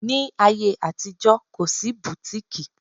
Ní ayé àtijó, kò sí bùtíkìì